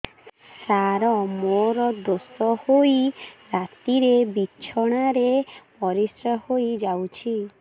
ସାର ମୋର ଦୋଷ ହୋଇ ରାତିରେ ବିଛଣାରେ ପରିସ୍ରା ହୋଇ ଯାଉଛି